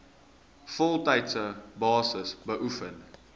voltydse basis beoefen